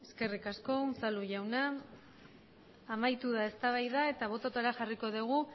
eskerrik asko unzalu jaunak amaitu da eztabaida eta botoetara jarriko dugu